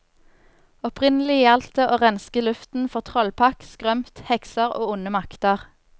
Opprinnelig gjaldt det å renske luften for trollpakk, skrømt, hekser og onde makter.